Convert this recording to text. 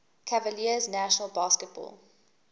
cavaliers national basketball